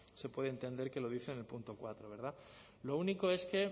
se puede entender que lo dice en el punto cuatro lo único es que